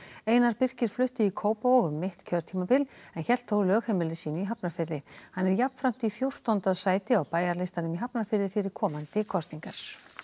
einar Birkir flutti í Kópavog um mitt kjörtímabil en hélt þó lögheimili sínu í Hafnarfirði hann er jafnframt í fjórtánda sæti á Bæjarlistanum í Hafnarfirði fyrir komandi kosningar